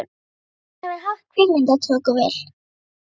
Ég vildi að ég hefði haft kvikmyndatökuvél.